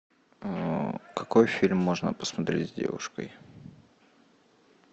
какой фильм можно посмотреть с девушкой